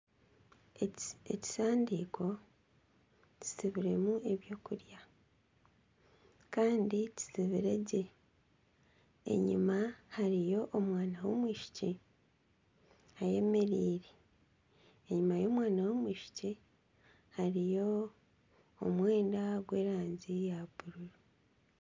Ekisaaniko kitsibiremu eby'okurya kandi kitsibiregye enyuma hariyo omwana w'omwishiki ayemereire enyuma y'omwana w'omwishiki hariyo omwenda gw'erangi ya buru.